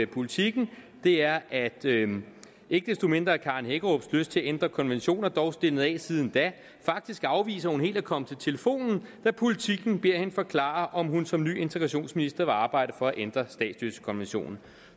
politiken er at ikke desto mindre er fru karen hækkerups lyst til at ændre konventioner dog stilnet af siden da faktisk afviste hun helt at komme til telefonen da politiken bad hende forklare om hun som ny integrationsminister ville arbejde for at ændre statsløsekonventionen